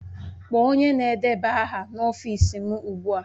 Kpọọ onye na-edeba aha n'ọfịs m ugbu a!